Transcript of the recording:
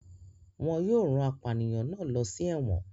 Wọn yóò rán apànìyàn náà lọ sí ẹ̀wọ̀n.